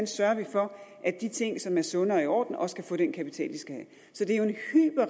sørger for at de ting som er sunde og i orden også kan få den kapital de skal